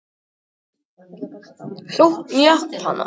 Sókn Japana hafði verið stöðvuð og þeir beðið hroðalegan ósigur.